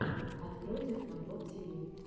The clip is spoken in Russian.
открой техноглоб тиви